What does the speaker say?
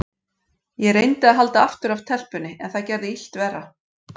Ég reyndi að halda aftur af telpunni, en það gerði illt verra.